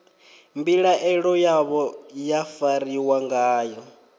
mbilaelo yavho ya fariwa ngayo